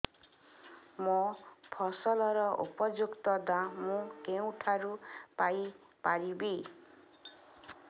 ମୋ ଫସଲର ଉପଯୁକ୍ତ ଦାମ୍ ମୁଁ କେଉଁଠାରୁ ପାଇ ପାରିବି